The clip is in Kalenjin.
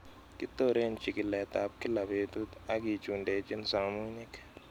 Kitoren chikiletab kila betut ak kichundechin somunyik